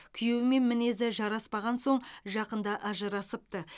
күйеуімен мінезі жараспаған соң жақында ажырасыпты